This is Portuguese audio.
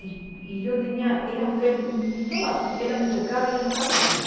E eu tinha, era febre, não estava assim, ela me tocava e eu não estava quente.